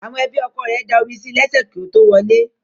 Àwọn ẹbí ọkọ ẹ̀ da omi sí lẹ́sẹ̀ kí ó tó wọlé